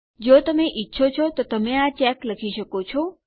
જો તમે ઈચ્છો તો તમે આ ચેક્સ લખી શકો છો